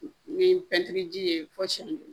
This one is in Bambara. Ni pɛntiri ji ye fɔ siyɛn kelen